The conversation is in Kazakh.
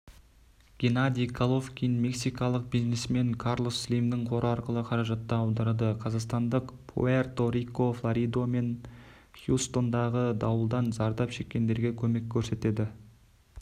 геннадий головкин мексикалық бизнесмен карлос слимнің қоры арқылы қаражатты аударады қазақстандықпуэрто-рико флорида мен хьюстондағы дауылдан зардап шеккендерге көмек көрсетеді